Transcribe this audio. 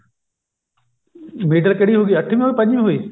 middle ਕਿਹੜੀ ਹੋਗੀ ਅੱਠਵੀੰ ਹੋਈ ਪੰਜਵੀਂ ਹੋਈ